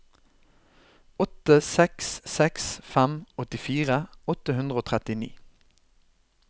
åtte seks seks fem åttifire åtte hundre og trettini